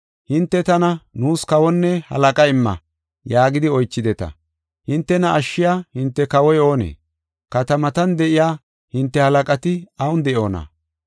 Hinte tana, ‘Nuus kawonne halaqa imma’ yaagidi oychideta. Hintena ashshiya hinte kawoy anee? Katamatan de7iya hinte halaqati awun de7oona?